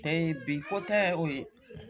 bi ko tɛ o ye